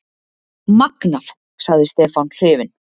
Magnað! sagði Stefán hrifinn.